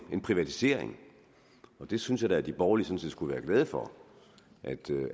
privatisering og det synes jeg at de borgerlige skulle være glade for